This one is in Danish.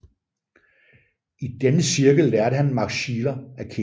I denne cirkel lærte han Max Scheler at kende